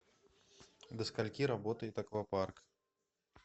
до скольки работает аквапарк